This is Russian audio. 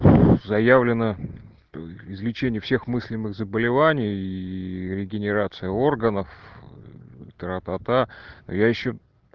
заявлено излечение всех мыслимых заболеваний и регенерация органов аа тра-та-та я ещё